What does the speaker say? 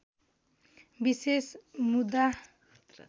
विशेष मुद्रा